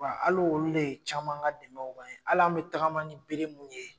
Wa hali olu de ye caman ka dɛmɛw k'an ye ,hali an be tagama ni bere mun ye